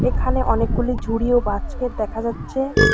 এখানে অনেকগুলি ঝুড়ি ও বাস্কেট দেখা যাচ্ছে।